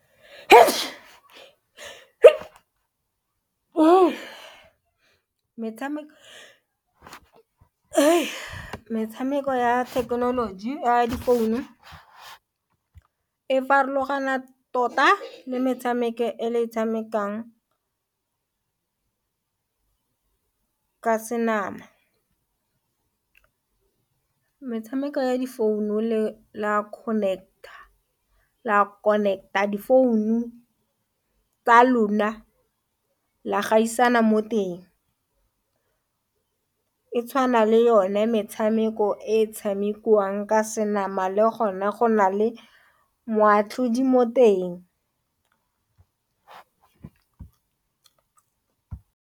Metshameko ya thekenoloji ya difounu e farologana tota le metshameko e le e tshamekang ka senama metshameko ya difounu la connect-a di founu tsa lona, la gaisana mo teng e tshwana le yone metshameko e tshamekiwang ka senama le gona go na le moatlhodi mo teng.